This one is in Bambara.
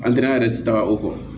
Antɛrɛ yɛrɛ tɛ taga o kɔ